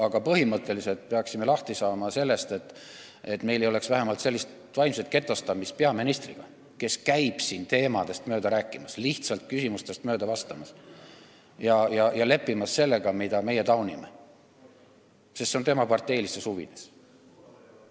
Aga põhimõtteliselt peaksime lahti saama ühest asjast – et meil ei oleks vähemalt sellist vaimset getostumist, et peaminister käib siin ja räägib teemast mööda, ei vasta lihtsalt küsimustele ja lepib sellega, mida meie taunime, sest see on tema parteilistes huvides.